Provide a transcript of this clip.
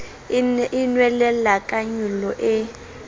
e nwelella ka nyollo e